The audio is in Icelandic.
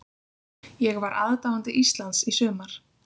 Ég var aðdáandi Íslands í sumar.